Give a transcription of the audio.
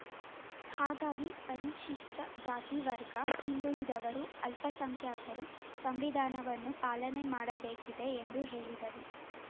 ಹಾಗಾಗಿ ಪರಿಶಿಷ್ಟಜಾತಿ ವರ್ಗ ಹಿಂದುಳಿದವರು ಅಲ್ಪಸಂಖ್ಯಾತರು ಸಂವಿಧಾನವನ್ನು ಪಾಲನೆ ಮಾಡಬೇಕಿದೆ ಎಂದು ಹೇಳಿದರು